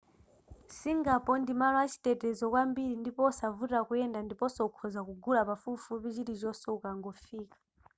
singapore ndi malo a chitetezo kwambiri ndipo osavuta kuyenda ndiponso ukhoza kugula pafupifupi chilichonse ukangofika